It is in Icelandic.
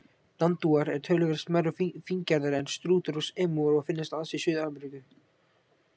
Nandúar eru töluvert smærri og fíngerðari en strútar og emúar og finnast aðeins í Suður-Ameríku.